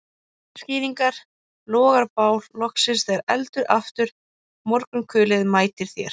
Litir skýrast, logar bál loksins þegar eldir aftur morgunkulið mætir þér